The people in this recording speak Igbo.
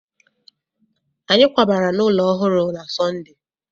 Anyị kwabara n'ụlọ ọhụrụ na Sọnde